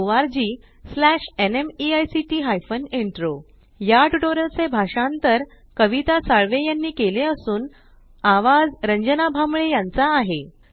spoken tutorialorgnmeict intro या tutorial चे भाषांतर कविता साळवे यानी केले असून आवाज रंजना भांबळे यांचा आहे